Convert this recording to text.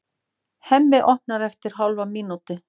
Hemmi opnar eftir hálfa mínútu.